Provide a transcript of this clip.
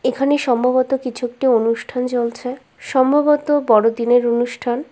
এখানে সম্ভবত কিছু একটি অনুষ্ঠান চলছে সম্ভবত বড়দিনের অনুষ্ঠান।